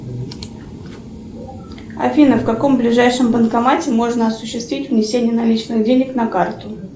афина в каком ближайшем банкомате можно осуществить внесение наличных денег на карту